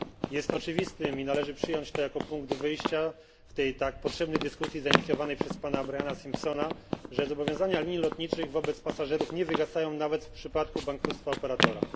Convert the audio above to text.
Jest oczywiste i należy przyjąć to jako punkt wyjścia w tej tak potrzebnej dyskusji zainicjowanej przez pana Briana Simpsona, że zobowiązania linii lotniczych wobec pasażerów nie wygasają nawet w przypadku bankructwa operatora.